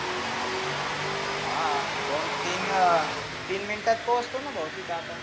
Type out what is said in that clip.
हा दोन तीन वेळा तीन मिनीटात पोचतो ना भो तीथं आता.